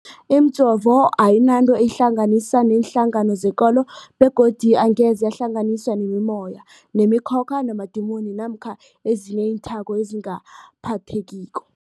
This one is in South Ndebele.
Imijovo ayinanto eyihlanganisa neenhlangano zekolo begodu angeze yahlanganiswa nemimoya, nemi khokha, namadimoni namkha ezinye iinthako ezingaphathekiko.